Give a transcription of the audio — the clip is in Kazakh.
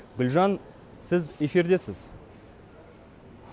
гүлжан сіз эфирдесіз